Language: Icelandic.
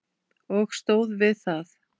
Og stóð við það.